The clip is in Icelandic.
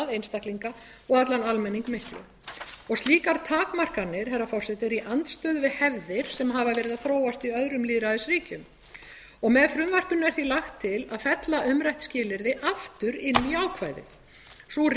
einstaklinga og allan almenning miklu slíkar takmarkanir herra forseti eru í andstöðu við hefðir sem hafa verið að þróast í öðrum lýðræðisríkjum með frumvarpinu er því lagt til að fella umrætt skilyrði aftur inn í ákvæðið sú